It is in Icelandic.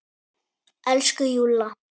Elsku Júlla!